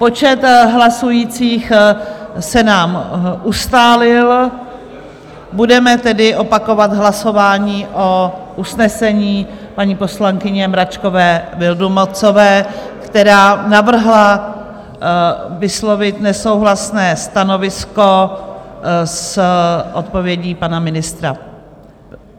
Počet hlasujících se nám ustálil, budeme tedy opakovat hlasování o usnesení paní poslankyně Mračkové Vildumetzové, která navrhla vyslovit nesouhlasné stanovisko s odpovědí pana ministra...